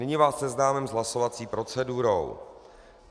Nyní vás seznámím s hlasovací procedurou.